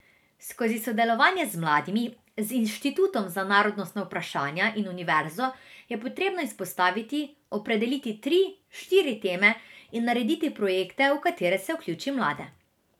Skozi sodelovanje z mladimi, z Inštitutom za narodnostna vprašanja in univerzo je potrebno izpostaviti, opredeliti tri, štiri teme in narediti projekte, v katere se vključi mlade.